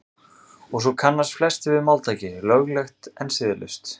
og svo kannast flestir við máltækið „löglegt en siðlaust“